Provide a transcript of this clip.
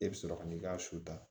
E bɛ sɔrɔ ka n'i ka su ta